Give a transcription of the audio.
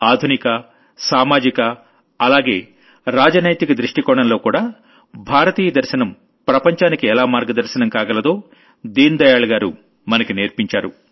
ఆధునిక సామాజిక అలాగే రాజనైతిక దృష్టికోణంలోకూడా భారతీయ దర్శనం ప్రపంచానికి ఎలా మార్గదర్శనం కాగలదో దీన్ దయాళ్ గారు మనకి నేర్పించారు